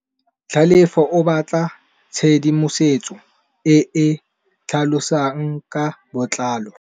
Tlhalefô o batla tshedimosetsô e e tlhalosang ka botlalô.